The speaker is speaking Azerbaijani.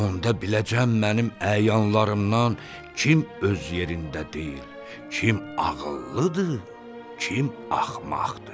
Onda biləcəm mənim əyanlarımdan kim öz yerində deyil, kim ağıllıdır, kim axmaqdır.